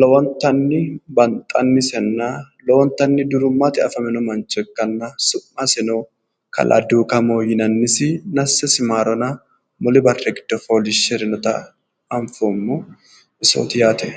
lowontanni banxannisinna lowontanni durimmatennino afamino mancho ikkanna su'masino kalaa duukamo yinannisi nassesi maarona muli barri giddo fooliishshirinota anfoommo isooti yaate